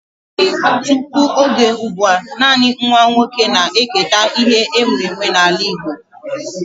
Tụpụ oge ụgbụa, nanị nwa oké na eketa ihe e nwe nwe n'ala Igbo